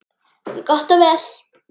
En gott og vel.